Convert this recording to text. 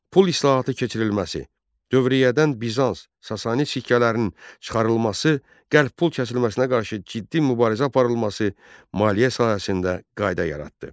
Pul islahatı keçirilməsi, dövriyyədən Bizans, Sasani sikkələrinin çıxarılması, qəlb pul kəsilməsinə qarşı ciddi mübarizə aparılması, maliyyə sahəsində qayda yaratdı.